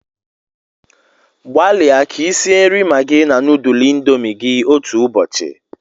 Gbalịa ka i sie nri Maggi na nudulu indomi gị otu ụbọchị